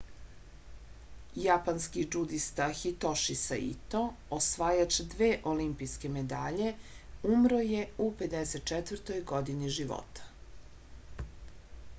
japanski džudista hitoši saito osvajač dve olimpijske medalje umro je u 54. godini života